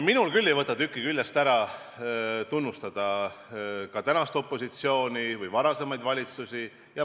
Minul küll ei võta tükki küljest ära, kui ma tunnustan praegust opositsiooni või ka varasemaid valitsusi.